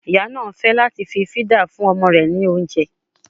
Ìyá náà fẹ́ láti fí fídà fún ọmọ rẹ ní oúnjẹ